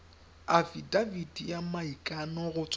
afitafiti ya maikano go tswa